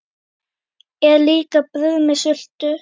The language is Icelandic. Er líka brauð með sultu?